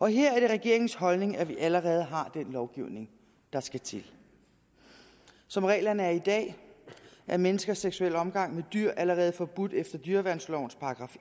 her er det regeringens holdning at vi allerede har den lovgivning der skal til som reglerne er i dag er menneskers seksuelle omgang med dyr allerede forbudt efter dyreværnslovens §